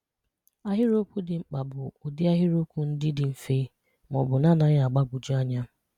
Àhịrị́okwù dị̀ mkpà bụ̀ ụ̀dị̀ àhịrị́okwù ndị́ dị̀ mfè ma ọ̀ bụ̀ n’ánaghị̀ mgbàgwùjọ̀ ànyà